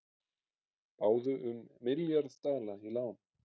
Báðu um milljarð dala í lán